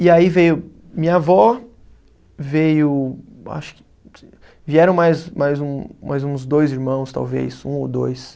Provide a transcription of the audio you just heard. E aí veio minha avó, veio acho que, vieram mais um, mais uns dois irmãos, talvez, um ou dois.